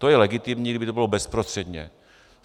To je legitimní, kdyby to bylo bezprostředně.